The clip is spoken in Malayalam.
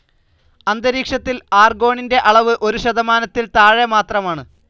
അന്തരീക്ഷത്തിൽ ആർഗോണിന്റെ അളവ് ഒരു ശതമാനത്തിൽ താഴെ മാത്രമാണ്.